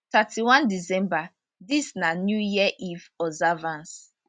thirty one december dis na new year eve observance